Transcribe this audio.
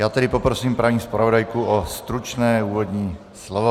Já tedy poprosím paní zpravodajku o stručné úvodní slovo.